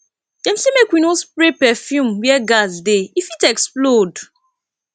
dem sey make we no spray perfume where gas dey e fit explode